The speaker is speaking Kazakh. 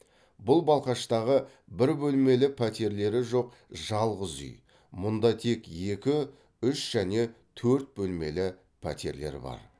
бұл балқаштағы бір бөлмелі пәтерлері жоқ жалғыз үй мұнда тек екі үш және төрт бөлмелі пәтерлер бар